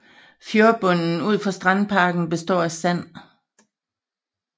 Fjordbunden ud for strandparken består af sand